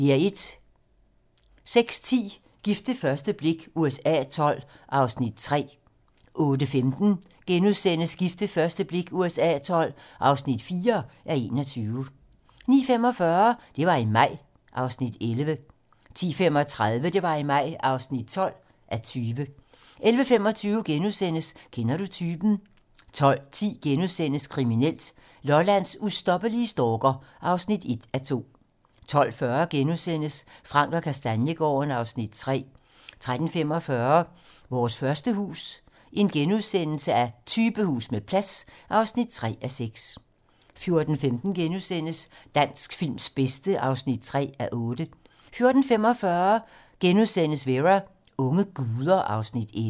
06:10: Gift ved første blik USA XII (3:21)* 08:15: Gift ved første blik USA XII (4:21)* 09:45: Det var i maj (11:20) 10:35: Det var i maj (12:20) 11:25: Kender du typen? * 12:10: Kriminelt: Lollands ustoppelige stalker (1:2)* 12:40: Frank & Kastaniegaarden (Afs. 3)* 13:45: Vores første hus - Typehus med plads (3:6)* 14:15: Dansk films bedste (3:8)* 14:45: Vera: Unge guder (Afs. 11)*